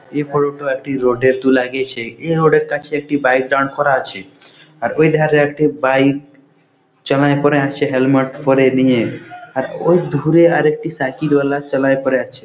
এই ফটো টো একটি রোডে তোলা গেছে এই রোডে র কাছে একটি বাইক দাঁড় করা আছে আর ওই ধারে একটি বাইক চলায় পড়া আছে হেলমেট পড়ে নিয়ে আর ওই ধুরে একটি সাইকেল ওয়ালা চলায় পোড়ে আছে।